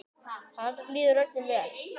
Þar líður öllum vel.